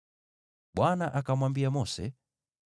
Bwana akamwambia Mose,